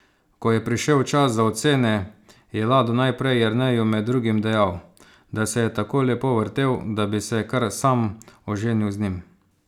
Ko je prišel čas za ocene, je Lado najprej Jerneju med drugim dejal, da se je tako lepo vrtel, da bi se kar sam oženil z njim.